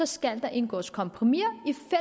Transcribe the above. skal der indgås kompromiser